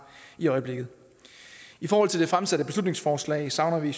i øjeblikket i forhold til det fremsatte beslutningsforslag savner vi i